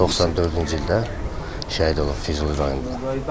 94-cü ildə şəhid olub Füzuli rayonunda.